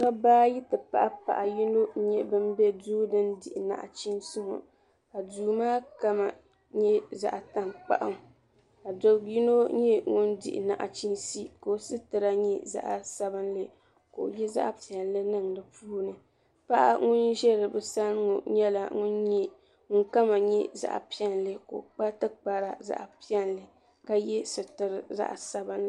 Dabba ayi ti pahi paɣa yino n nyɛ bin bɛ duu din dihi naɣachiinsi ŋɔ ka duu maa kama nyɛ zaɣa tankpaɣu ka dabi yino nyɛ ŋun di naɣachiinsi ka o sitira nyɛ zaɣa sabinli ka o yɛ zaɣa piɛlli niŋ di puuni paɣa ŋun ʒɛ bi sani ŋɔ nyɛla ŋun kama nyɛ zaɣa piɛlli ka o kpa tikpara zaɣa piɛlli ka yɛ sitira sabila.